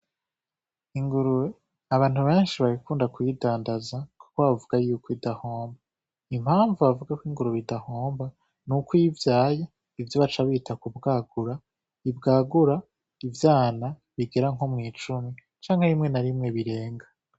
Ingurube abantu benshi barakunda kuyidandaza kuko bavuga yuko idahomba, impavu bavuga ko ingurube idahomba nuko iyo ivyaye ivyo baca bita ku bwagura ibwagura ivyana bigera nko mw'icumi canke rimwe na rimwe birenga.